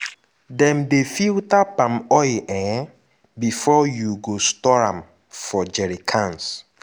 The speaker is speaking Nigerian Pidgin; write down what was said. dem dey filter palm oil um before you go store am for jerry cans.